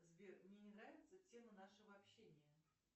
сбер мне ненравитсятема нашего общения